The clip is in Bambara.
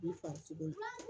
I farisogo